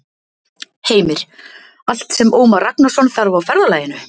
Heimir: Allt sem Ómar Ragnarsson þarf á ferðalaginu?